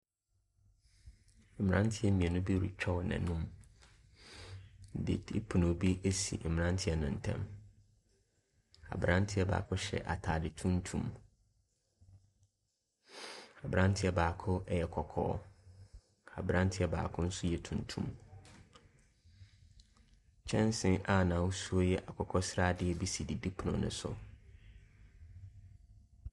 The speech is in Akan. Mmeranteɛ mmienu bi retwa wɔn anum, didipono bi si mmeranteɛ no ntam, aberanteɛ baako hyɛ ataare tuntum, aberanteɛ baako yɛ kɔkɔɔ, aberanteɛ baako nso yɛ tuntum, kyɛnse a n’ahosuo yɛ akokɔsradeɛ bi si didipono ne so.